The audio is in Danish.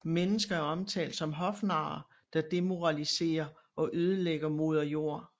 Mennesker er omtalt som hofnarer der demoralisere og ødelægger moderjord